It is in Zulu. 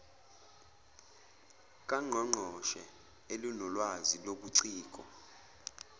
kangqongqoshe elinolwazi lobuciko